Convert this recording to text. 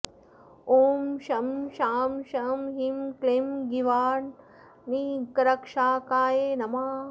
ॐ शं शां षं ह्रीं क्लीं गीर्वाणानीकरक्षकाय नमः